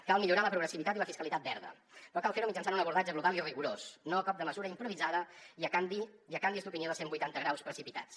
cal millorar la progressivitat i la fiscalitat verda però cal ferho mitjançant un abordatge global i rigorós no a cop de mesura improvisada i amb canvis d’opinió de cent vuitanta graus precipitats